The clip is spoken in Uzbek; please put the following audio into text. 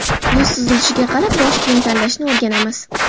Yuz tuzilishiga qarab bosh kiyim tanlashni o‘rganamiz .